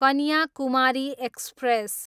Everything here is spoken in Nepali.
कन्याकुमारी एक्सप्रेस